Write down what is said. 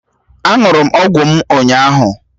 Á ṅụrụ m ọgwụ m ụnyaahụ